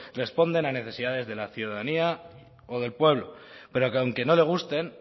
responden a necesidades de la ciudadanía o del pueblo pero que aunque no le gusten